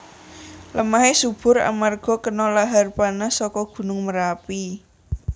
Lemahé subur amarga kena lahar panas saka gunung Merapi